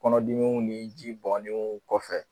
Kɔnɔdiw ni ji bɔnnenw kɔfɛ.